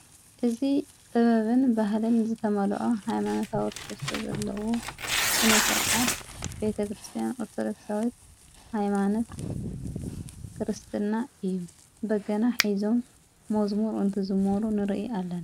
እዝ ጥበብን ባህልን ዝተመልኦ ኃይማነታዊ ትሒተ ዘለዎ ስነ ሥርዓት ቤተ ክርስቲያን ኣርተርክሳዊት ኃይማነት ክርስትና እዩ በገና ኂዞም መዝሙር እንቲ ዝሞሩ ንርኢ ኣለና።